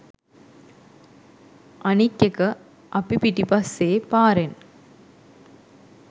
අනික් එක අපි පිටිපස්සේ පාරෙන්